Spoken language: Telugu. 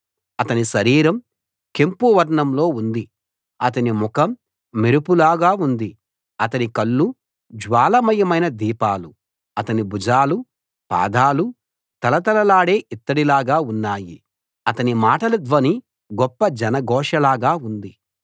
అతని శరీరం కెంపు వర్ణంలో ఉంది అతని ముఖం మెరుపులాగా ఉంది అతని కళ్ళు జ్వాలామయమైన దీపాలు అతని భుజాలు పాదాలు తళతళలాడే ఇత్తడిలాగా ఉన్నాయి అతని మాటల ధ్వని గొప్ప జనఘోష లాగా ఉంది